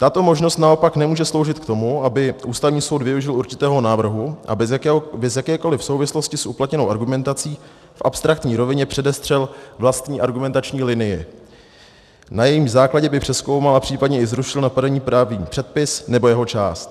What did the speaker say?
Tato možnost naopak nemůže sloužit k tomu, aby Ústavní soud využil určitého návrhu a bez jakékoliv souvislosti s uplatněnou argumentací v abstraktní rovině předestřel vlastní argumentační linii, na jejímž základě by přezkoumal a případně i zrušil napadený právní předpis nebo jeho část.